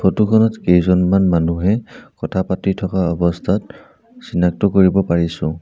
Photo খনত কেইজনমান মানুহে কথা পাতি থকা অৱস্থাত চিনাক্ত কৰিব পাৰিছোঁ।